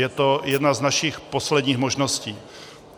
Je to jedna z našich posledních možností.